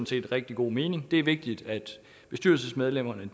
set rigtig god mening det er vigtigt at bestyrelsesmedlemmerne